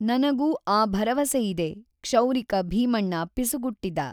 ನನಗೂ ಆ ಭರವಸೆ ಇದೆ,' ಕ್ಷೌರಿಕ ಭೀಮಣ್ಣ ಪಿಸುಗುಟ್ಟಿದ.